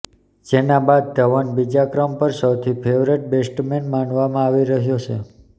જેના બાદ ધવન બીજા ક્રમ પર સૌથી ફેવરેટ બેસ્ટમેન માનવામાં આવી રહ્યો છે